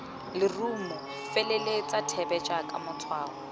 lerumo feleletsa thebe jaaka matshwao